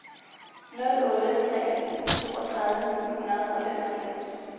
nul otte tre en toogtredive ni hundrede og femoghalvfems